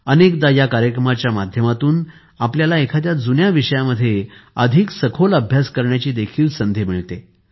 अनेकदा या कार्यक्रमाच्या माध्यमातून आपल्याला एखाद्या जुन्या विषयामध्ये अधिक सखोल अभ्यास करण्याची देखील संधी मिळते